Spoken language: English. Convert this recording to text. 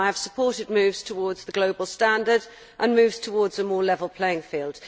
I have supported moves towards the global standard and towards a more level playing field.